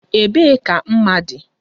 Ebee ka mma dị?